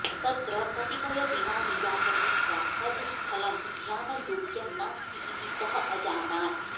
तत्र कतिपय दिनानि यापयित्वा तद् स्थलं ध्यानयोग्यं नास्ति इति सः अजानात्